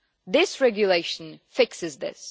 This regulation fixes this.